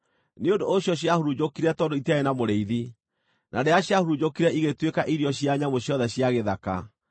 Nĩ ũndũ ũcio ciahurunjũkire tondũ itiarĩ na mũrĩithi, na rĩrĩa ciahurunjũkire ĩgĩtuĩka irio cia nyamũ ciothe cia gĩthaka.